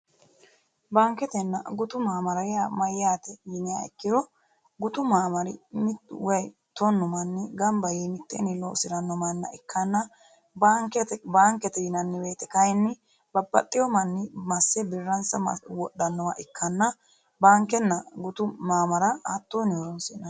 Baaniketenna gutu maamara yaa mayyaate yiniha ikkiro gutu maamari mittu woy tonnu manni ganibba yee miteenni loosiranno manna ikkana baanikete yinanni woyte kayinni babbaxeeo manni masse biranisa wodhannowa ikkana baanikenna gutu maamara hattoonni horonisi'nanni